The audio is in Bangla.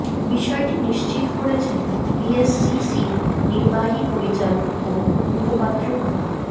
বিষয়টি নিশ্চিত করেছেন বিএসইসির নির্বাহী পরিচালক ও মুখপাত্র মো